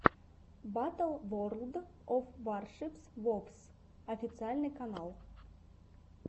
батл ворлд оф варшипс вовс официальный канал